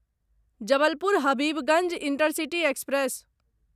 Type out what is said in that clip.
Jabalpur Habibganj intercity express